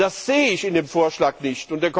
Das sehe ich in dem Vorschlag nicht.